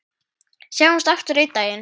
Sjáumst aftur einn daginn.